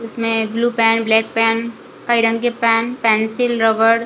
इसमें blue pen black pen कई रंग के पेन-पेंसिल रबड़ --